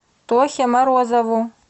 тохе морозову